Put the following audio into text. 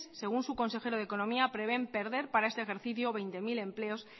según su consejero de economía prevén perder para este ejercicio veinte mil empleos